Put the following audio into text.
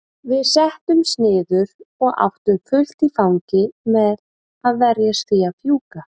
Við settumst niður og áttum fullt í fangi með að verjast því að fjúka.